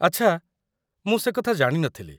ଆଚ୍ଛା, ମୁଁ ସେକଥା ଜାଣି ନ ଥିଲି।